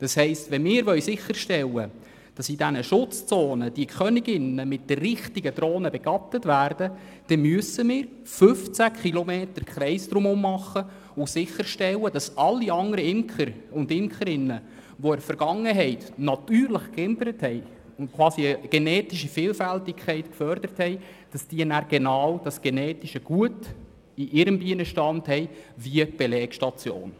Das heisst, wenn wir sicherstellen wollen, dass in diesen Schutzzonen die Königinnen von den richtigen Drohnen begattet werden, dann müssen wir im Umkreis von 15 km um die Belegstationen sicherstellen, dass alle anderen Imker und Imkerinnen, die in der Vergangenheit dort natürlich geimkert und natürliche Vielfalt gefördert haben, genau dasselbe genetische Gut in ihrem Bienenstand haben wie die Belegstation.